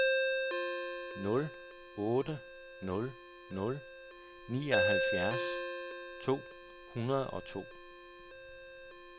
nul otte nul nul nioghalvfjerds to hundrede og to